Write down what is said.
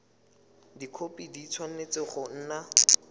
dikhopi di tshwanetse go nna